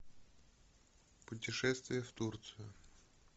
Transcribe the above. путешествие в турцию